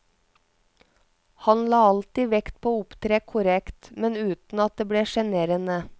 Han la alltid vekt på å opptre korrekt, men uten at det ble sjenerende.